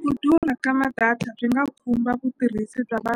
Ku durha ka ma-data swi nga khumba vutirhisi bya va